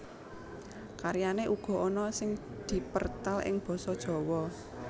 Karyané uga ana sing dipertal ing Basa Jawa